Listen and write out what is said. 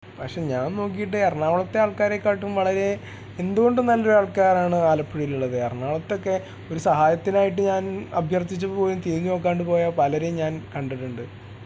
പക്ഷേ ഞാൻ നോക്കിയിട്ട് എറണാകുളത്തെ ആൾക്കാരെ കാളും വളരെ എന്തു കൊണ്ടും വളരെ നല്ല ആൾക്കാർ ആണ് ആലപ്പുഴയിൽ ഉള്ളത് എറണാകുളത്ത് ഒക്കെ ഒരു സഹായത്തിനായിട്ടു ഞാൻ അഭ്യർത്ഥിച്ചു പോലും തിരിഞ്ഞുനോക്കാണ്ടു പലരേയും ഞാൻ കണ്ടിട്ടുണ്ട്